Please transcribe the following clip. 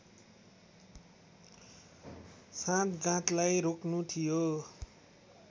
साँठगाँठलाई रोक्नु थियो